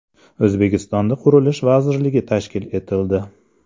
O‘zbekistonda Qurilish vazirligi tashkil etildi.